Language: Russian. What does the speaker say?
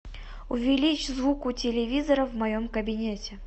увеличь звук у телевизора в моем кабинете